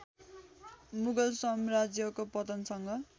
मुगल साम्राज्यको पतनसँग